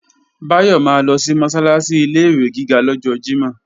Báyọ̀ máa lọ sí Mọ́sálásí ilé-ìwé gíga lọ́jọ́ Jímọ̀